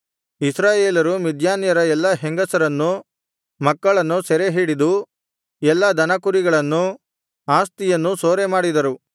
ಇಸ್ರಾಯೇಲರು ಮಿದ್ಯಾನ್ಯರ ಎಲ್ಲಾ ಹೆಂಗಸರನ್ನೂ ಮಕ್ಕಳನ್ನೂ ಸೆರೆಹಿಡಿದು ಎಲ್ಲಾ ದನಕುರಿಗಳನ್ನೂ ಆಸ್ತಿಯನ್ನೂ ಸೂರೆಮಾಡಿದರು